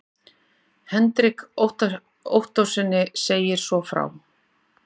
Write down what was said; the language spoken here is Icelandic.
Hendrik Ottóssyni segist svo frá